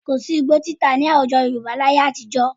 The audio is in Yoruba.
Kò sí́ igbó títà nih àwùjọ Yorùbá ní ayé àtijọ́